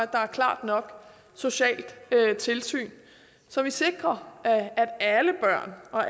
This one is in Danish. der er et klart nok socialt tilsyn så vi sikrer at alle børn og